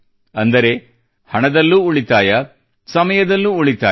ಅಂದರೆ ಹಣದಲ್ಲೂ ಉಳಿತಾಯ ಸಮಯದಲ್ಲೂ ಉಳಿತಾಯ